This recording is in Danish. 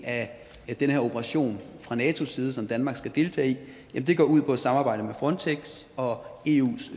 af den her operation fra natos side som danmark skal deltage i går ud på at samarbejde med frontex og eus